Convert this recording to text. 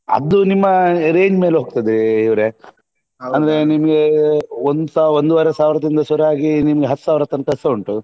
ಅದು ನಿಮ್ಮ range ಮೇಲೆ ಹೋಗ್ತದೆ ಇವ್ರೇ ಅಂದ್ರೆ ನಿಮ್ಗೆ ಒಂದು ಸಾವಿರ ಒಂದೂವರೆ ಸಾವಿರದಿಂದ ಶುರುವಾಗಿ ನಿಮ್ಗೆ ಹತ್ತುಸಾವಿರ ತನಕ ಸ ಉಂಟು